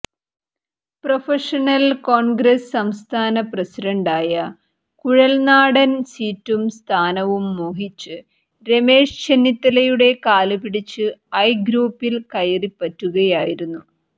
professional Congress സംസ്ഥാന പ്രസിഡന്റായ കുഴൽനാടൻ സീറ്റും സ്ഥാനവും മോഹിച്ച് രമേശ് ചെന്നിത്തലയുടെ കാലുപിടിച്ച് ഐ ഗ്രൂപ്പിൽ കയറിപ്പറ്റുകയായിരുന്നു